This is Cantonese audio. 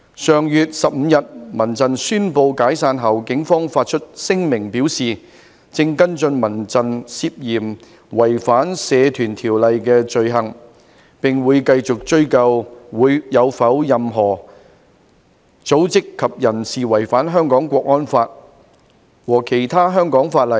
上月15日民陣宣布解散後，警方發出聲明表示，正跟進民陣涉嫌違反《社團條例》的罪行，並會繼續追究有否任何組織及人士違反《香港國安法》和其他香港法例。